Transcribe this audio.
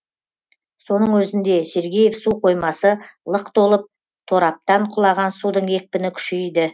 соның өзінде сергеев су қоймасы лық толып тораптан құлаған судың екпіні күшейді